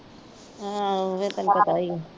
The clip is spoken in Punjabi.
ਆਉ ਫੇਰ ਤੈਨੂੰ ਪਤਾ ਹੀ ਹੈ।